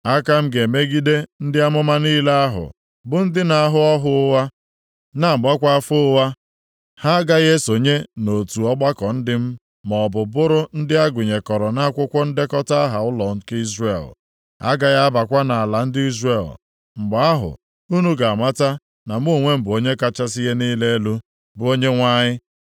Aka m ga-emegide ndị amụma niile ahụ bụ ndị na-ahụ ọhụ ụgha, na-agbakwa afa ụgha. Ha a gaghị esonye na otu ọgbakọ ndị m maọbụ bụrụ ndị agụnyekọrọ nʼakwụkwọ ndekọta aha ụlọ nke Izrel, ha agaghị abakwa nʼala ndị Izrel. Mgbe ahụ unu ga-amata na mụ onwe m bụ Onye kachasị ihe niile elu, bụ Onyenwe anyị.